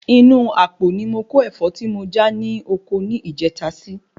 Inú apo ni mó kó Ẹ̀fọ́ tí mo já ní ọkọ ni ìjèta si